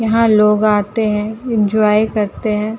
यहाँ लोग आते हैं इंजॉय करते हैं।